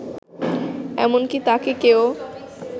এমনকি তাকে কেউ